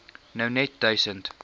nou net duisend